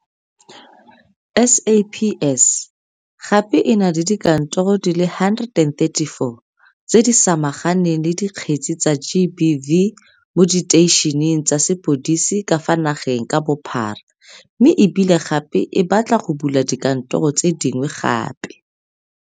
SAPS gape e na le dikantoro di le 134 tse di samaganeng le dikgetse tsa GBV mo diteišeneng tsa sepodisi ka fa nageng ka bophara mme e bile gape e batla go bula dikantoro tse dingwe gape.